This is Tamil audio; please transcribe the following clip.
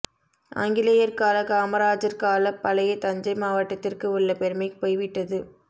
ஆங்கிலேயர் கால காமராஜர் கால பழைய தஞ்சை மாவட்ட திற்கு உள்ள பெருமை போய்விட்டது